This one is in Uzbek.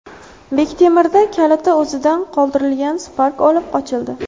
Bektemirda kaliti o‘zida qoldirilgan Spark olib qochildi.